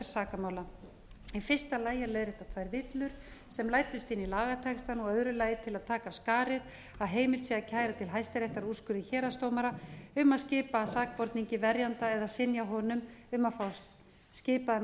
sakamála í fyrsta lagi til að leiðrétta tvær villur sem læddust inn í lagatextann og í öðru lagi til að taka af skarið að heimilt til að kæra til hæstaréttar úrskurði héraðsdómara um að skipa sakborningi verjanda eða synja honum um að fá skipaðan